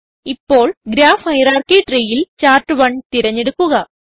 ഇപ്പോൾ graph hierarchy treeയിൽ chart one തിരഞ്ഞെടുക്കുക